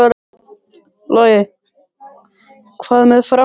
Logi: Hvað með framhaldið?